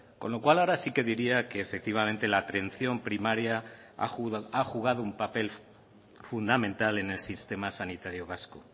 con lo cual ahora sí que diría que efectivamente la atención primaria ha jugado un papel fundamental en el sistema sanitario vasco